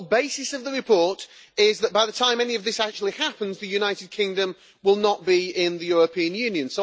The whole basis of the report is that by the time any of this actually happens, the United Kingdom will not be in the European Union.